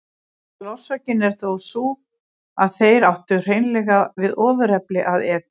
Aðalorsökin er þó sú að þeir áttu hreinlega við ofurefli að etja.